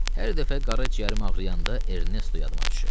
"Hər dəfə qara ciyərim ağrıyanda Ernesto yaduma düşür."